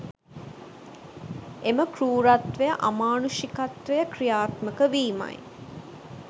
එම කෲරත්වය අමානුෂිකත්වය ක්‍රියාත්මක වීමයි